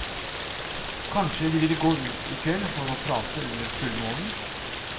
Kanskje de ville gå ut i kveld for å prate under fullmånen.